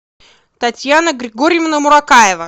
татьяна григорьевна муракаева